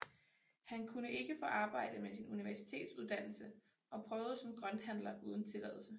Han kunne ikke få arbejde med sin universitetsuddannelse og prøvede som grønthandler uden tilladelse